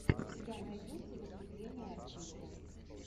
у тебя найдется выступление артиста